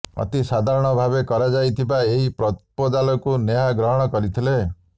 ଅତି ସାଧାରଣ ଭାବେ କରାଯାଇଥିବା ଏହି ପ୍ରପୋଜାଲକୁ ନେହା ଗ୍ରହଣ କରିଥିଲେ